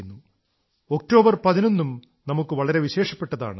11 ഒക്ടോബറും നമുക്ക് വളരെ വിശേഷപ്പെട്ടതാണ്